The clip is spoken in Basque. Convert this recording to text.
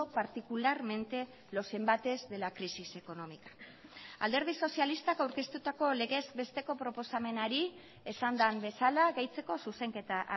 particularmente los embates de la crisis económica alderdi sozialistak aurkeztutako legez besteko proposamenari esan den bezala gehitzeko zuzenketa